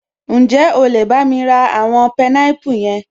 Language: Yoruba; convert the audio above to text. Ǹjẹ́ o lè bámi ra àwọn pineapple yẹn?